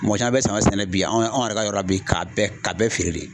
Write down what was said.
Mɔgɔ caman bɛ saɲɔ sɛnɛ bi anw yɛrɛ ka yɔrɔ la bi ka bɛɛ ka bɛɛ feere de.